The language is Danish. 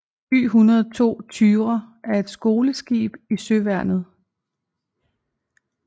Y102 Thyra er et skoleskib i Søværnet